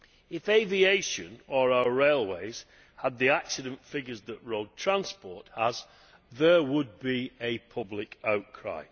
If aviation or our railways had the accident figures that road transport has, there would be a public outcry.